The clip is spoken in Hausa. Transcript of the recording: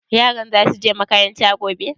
Yaran za su je makaranta gobe?